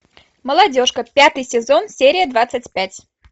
молодежка пятый сезон серия двадцать пять